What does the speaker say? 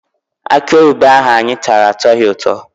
Akịoyibo ahụ anyị tara atọghị ụtọ.